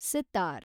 sitar